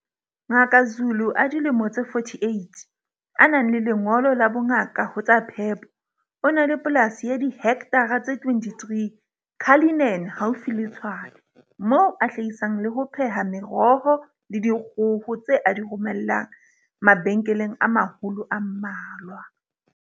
Ngaka Zulu a dilemo tse 48, a nang le lengolo la bongaka ho tsa phepo, o na le polasi ya dihektara tse 23 Cullinan haufi le Tshwane, moo a hlahisang le ho pheha meroho le dikgoho tse a di romellang mabenkeleng a maholo a mmalwa.